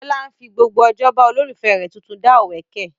Bíólá fi gbogbo ojó ba olólùfẹ́ rẹ̀ tuntun dá òwẹ́kẹ̀